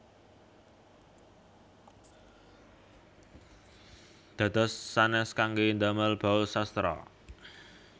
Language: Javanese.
Dados sanès kanggé ndamel bausastra